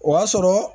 O b'a sɔrɔ